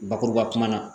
Bakuruba la